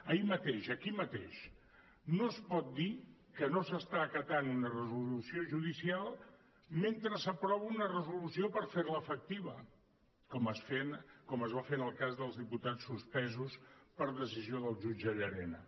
ahir mateix aquí mateix no es pot dir que no s’està acatant una resolució judicial mentre s’aprova una resolució per fer la efectiva com es va fer en el cas dels diputats suspesos per decisió del jutge llarena